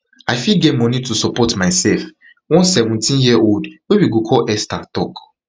i fit get money to support myself one seventeenyearold wey we go call esther tok